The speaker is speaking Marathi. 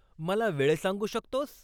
मला वेळ सांगू शकतोस?